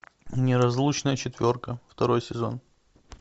неразлучная четверка второй сезон